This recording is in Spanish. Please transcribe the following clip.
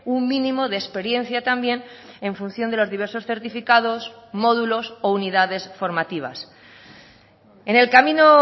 un mínimo de experiencia también en función de los diversos certificados módulos o unidades formativas en el camino